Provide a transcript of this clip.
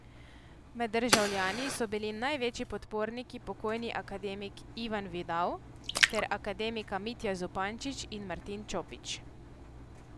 Med državljani so bili največji podporniki pokojni akademik Ivan Vidav ter akademika Mitja Zupančič in Martin Čopič.